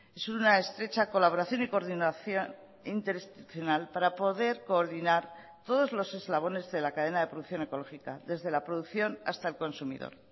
es una estrecha colaboración y coordinación interinstitucional para poder coordinar todos los eslabones de la cadena de producción ecológica desde la producción hasta el consumidor